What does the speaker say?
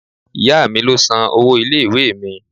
Ìyá mi ló san owó ilé-ìwé mi.